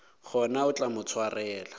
gona o tla mo swarela